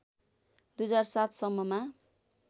२००७ सम्ममा